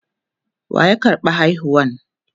waya karɓa haihuwan?